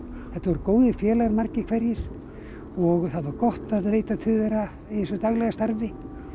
þetta voru góðir félagar margir hverjir það var gott að leita til þeirra í þessu daglega starfi